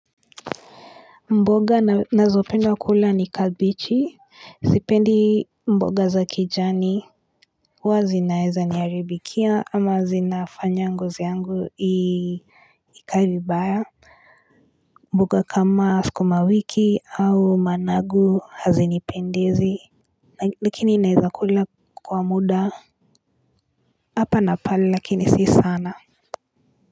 Mboga nazopenda kula ni kabichi sipendi mboga za kijani huwa zinaeza niharibikia ama zinafanya ngozi yangu i ikaevibaya mboga kama sukumawiki au managu hazinipendezi lakini ninaweza kula kwa muda hapa na pale lakini si sana na.